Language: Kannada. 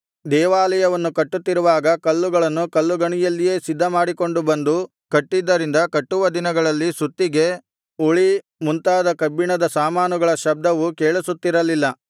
ದೇವಾಲಯವನ್ನು ಕಟ್ಟುತ್ತಿರುವಾಗ ಕಲ್ಲುಗಳನ್ನು ಕಲ್ಲುಗಣಿಯಲ್ಲಿಯೇ ಸಿದ್ಧಮಾಡಿಕೊಂಡು ಬಂದು ಕಟ್ಟಿದ್ದರಿಂದ ಕಟ್ಟುವ ದಿನಗಳಲ್ಲಿ ಸುತ್ತಿಗೆ ಉಳಿ ಮುಂತಾದ ಕಬ್ಬಿಣದ ಸಾಮಾನುಗಳ ಶಬ್ದವು ಕೇಳಿಸುತ್ತಿರಲಿಲ್ಲ